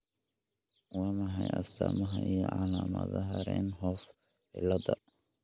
Waa maxay astamaha iyo calaamadaha Rienhoff ciladha?